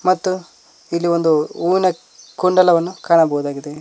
ಮತ್ತು ಇಲ್ಲಿ ಒಂದು ಹೂವಿನ ಕುಂಡಲವನ್ನು ಕಾಣಬಹುದಾಗಿದೆ.